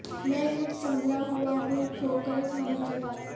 میں کچھ سنبھلا ہوا ہوں ٹھوکریں کھانے کے بعد